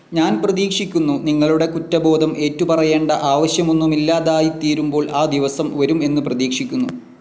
ഞാൻ പ്രതീക്ഷിക്കുന്നു, നിങ്ങളുടെ കുറ്റബോധം ഏറ്റുപറയേണ്ട ആവശ്യമൊന്നുമില്ലാതായിത്തീരുമ്പോൾ ആ ദിവസം വരും എന്ന് പ്രതീക്ഷിക്കുന്നു.